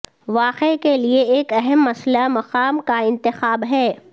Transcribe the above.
واقعے کے لئے ایک اہم مسئلہ مقام کا انتخاب ہے